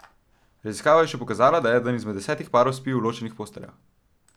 Raziskava je še pokazala, da eden izmed desetih parov spi v ločenih posteljah.